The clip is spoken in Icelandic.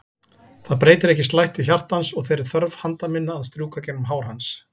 Það breytir ekki slætti hjartans og þeirri þörf handa minna að strjúka gegnum hár hans.